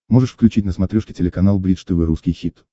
можешь включить на смотрешке телеканал бридж тв русский хит